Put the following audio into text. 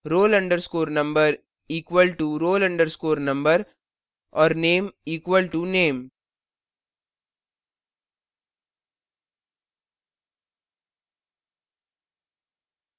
roll _ number equal to roll _ number और name equal to name